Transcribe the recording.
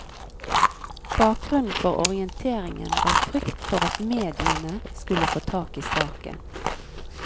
Bakgrunnen for orienteringen var frykt for at mediene skulle få tak i saken.